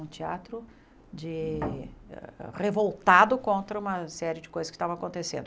Um teatro de revoltado contra uma série de coisas que estavam acontecendo.